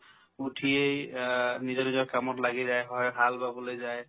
উঠিয়ে আ নিজৰ নিজৰ কামত লাগি যায় হয় হাল বাবলৈ যায়